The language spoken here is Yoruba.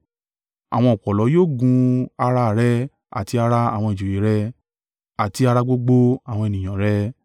Àwọn ọ̀pọ̀lọ́ yóò gun ara rẹ àti ara àwọn ìjòyè rẹ, àti ara gbogbo àwọn ènìyàn rẹ.’ ”